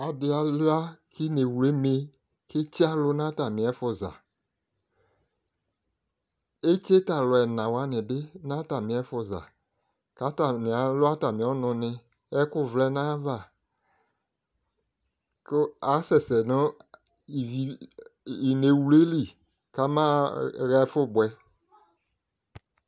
Adɩ alua k'ineɣlu eme, k'etse alʋ n'atamɩ ɛfʋza Etse t'alʋ ɛna wanɩ bɩ n'atamɩ ɛfʋza, k'atani alʋ atamɩ ɔnʋnɩ: ɛkʋ wlɛ nayava kʋ asɛsɛ nʋ ineɣlu yɛ li k'amaɣa ɛfʋ bʋɛ